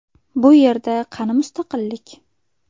Bu yerda qani mustaqillik?